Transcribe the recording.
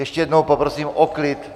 Ještě jednou poprosím o klid!